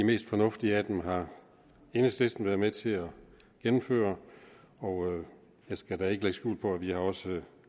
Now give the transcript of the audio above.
mest fornuftige af dem har enhedslisten været med til at gennemføre jeg skal da ikke lægge skjul på at vi også